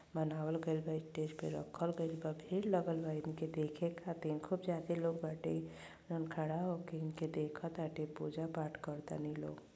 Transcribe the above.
बनवाल गइल बा। स्टेज पर रखल गइल बा। भीड़ लगल बा इनके देखे खातिर। खूब ज्यादे लोग बाटे जोवन खड़ा होके इनके देखताते पूजा पाठ करतनी लोग।